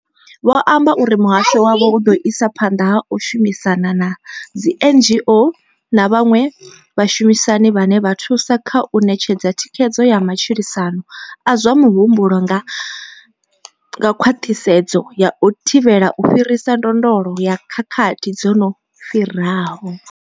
Vho amba uri muhasho wavho u ḓo isa phanḓa na u shumisana na dzi NGO na vhaṅwe vhashumisani vhane vha thusa kha u ṋetshedza thikhedzo ya matshilisano a zwa muhumbulo nga khwaṱhisedzo ya u thivhela u fhirisa ndondolo ya khakhathi dzo no fhiraho.